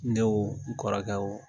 Ne wo n kɔrɔkɛ wo